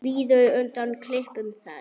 Svíður undan klipum þess.